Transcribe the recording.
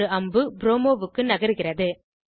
ஒரு அம்பு ப்ரோமோ க்கு நகருகிறது